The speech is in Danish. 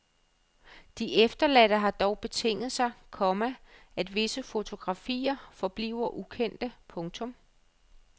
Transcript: De efterladte har dog betinget sig, komma at visse fotografier forbliver ukendte. punktum